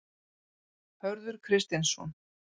Hörður Kristinsson.